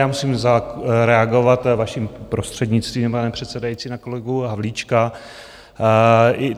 Já musím zareagovat, vaším prostřednictvím, pane předsedající, na kolegu Havlíčka.